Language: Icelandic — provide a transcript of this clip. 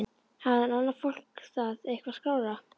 Hafði annað fólk það eitthvað skárra?